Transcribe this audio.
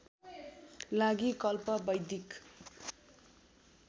लागि कल्प वैदिक